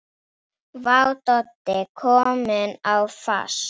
Vá, Doddi kominn á fast!